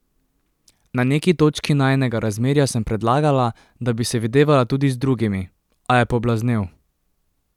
Na neki točki najinega razmerja sem predlagala, da bi se videvala tudi z drugimi, a je poblaznel.